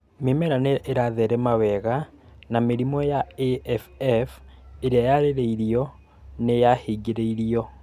Mi͂mera ni͂ i͂ratherema wega, na mi͂rimu͂ ya AFF i͂ri͂a yari͂ri͂irio ni͂ yahingi͂ri͂irio.